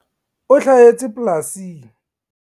O hlahetse polasing.